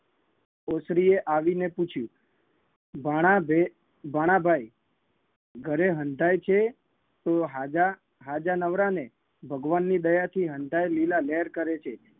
ઓસરીએ આવીને પૂછ્યું ભાણા ભૈ ભાણા ભાઈ ઘરે હંધાય છે હાજા હાજા નવરાને ભગવાનની દયાથી હંધાય લીલાલેર કરે છે